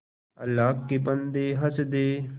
अल्लाह के बन्दे हंस दे